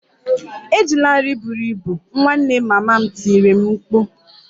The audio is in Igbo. Ejila nri buru ibu! Ị nwanne mama m tiri m mkpu